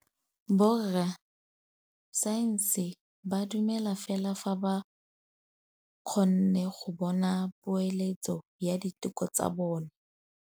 Borra saense ba dumela fela fa ba kgonne go bona poeletsô ya diteko tsa bone.